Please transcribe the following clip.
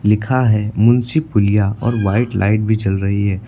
लिखा है मुंशी पुलिया और व्हाइट लाइट भी जल रही है।